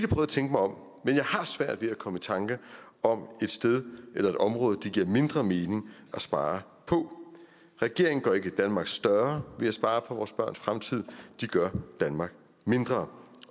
at tænke mig om men jeg har svært ved at komme i tanke om et sted eller et område hvor det giver mindre mening at spare regeringen gør ikke danmark større ved at spare på vores børns fremtid de gør danmark mindre